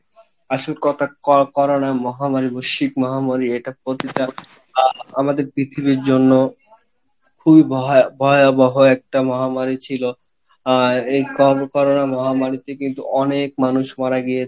আসল Corona মহামারী বৈশ্চিক মহামারী এটা প্রতিকার বা আমাদের পৃথিবীর জন্য খুবই ভয়~ভয়াবহ একটা মহামারী ছিলো, আহ এই Co~Corona মহামারীতে কিন্তু অনেক মানুষ মারা গিয়েছে